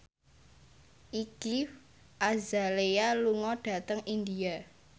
Iggy Azalea lunga dhateng India